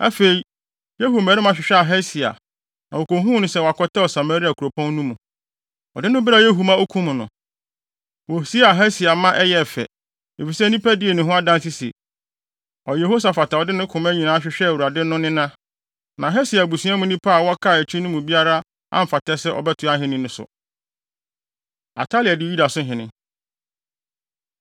Afei, Yehu mmarima hwehwɛɛ Ahasia, na wokohuu no sɛ wakɔtɛw Samaria kuropɔn no mu. Wɔde no brɛɛ Yehu ma okum no. Wosiee Ahasia ma ɛyɛɛ fɛ, efisɛ nnipa dii ne ho adanse se, “Ɔyɛ Yehosafat a ɔde ne koma nyinaa hwehwɛɛ Awurade no nena.” Na Ahasia abusua mu nnipa a wɔkaa akyi no mu biara amfata sɛ ɔbɛtoa ahenni no so. Atalia Di Yuda So Hene